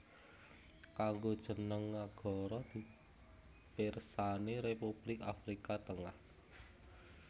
Kanggo jeneng nagara pirsani Republik Afrika Tengah